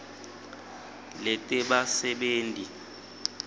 letebasebenti